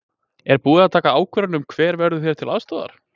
Er búið að taka ákvörðun um hver verður þér til aðstoðar?